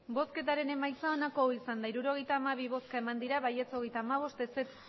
emandako botoak hirurogeita hamabi bai hogeita hamabost ez